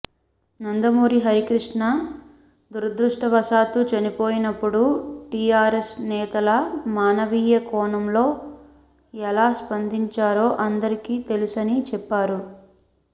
నందమూరి హరికృష్ణ దురదృష్టవశాత్తు చనిపోయినప్పుడు టీఆర్ఎస్ నేతలు మానవీయ కోణంలో ఎలా స్పందించారో అందరికీ తెలుసని చెప్పారు